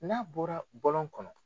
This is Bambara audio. N'a bɔra bɔlɔn kɔnɔ